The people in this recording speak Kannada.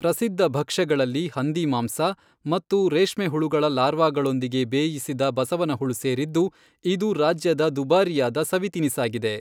ಪ್ರಸಿದ್ಧ ಭಕ್ಷ್ಯಗಳಲ್ಲಿ ಹಂದಿಮಾಂಸ ಮತ್ತು ರೇಷ್ಮೆ ಹುಳುಗಳ ಲಾರ್ವಾಗಳೊಂದಿಗೆ ಬೇಯಿಸಿದ ಬಸವನಹುಳು ಸೇರಿದ್ದು, ಇದು ರಾಜ್ಯದ ದುಬಾರಿಯಾದ ಸವಿ ತಿನಿಸಾಗಿದೆ.